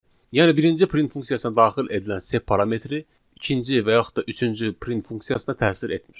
Yəni birinci print funksiyasına daxil edilən sep parametri, ikinci və yaxud da üçüncü print funksiyasına təsir etmir.